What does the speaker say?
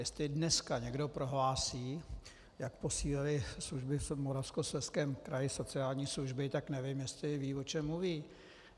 Jestli dneska někdo prohlásí, jak posílily služby v Moravskoslezském kraji, sociální služby, tak nevím, jestli ví, o čem mluví.